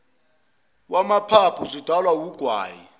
wamaphaphu zidalwa wugwayi